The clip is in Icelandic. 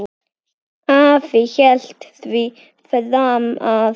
Afi hélt því fram að